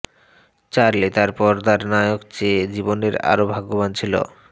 Charlie তার পর্দার নায়ক চেয়ে জীবনের আরও ভাগ্যবান ছিল